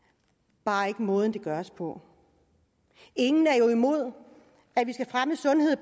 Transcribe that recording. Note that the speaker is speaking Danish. bare ikke om måden det nås på ingen er jo imod at vi skal fremme sundhed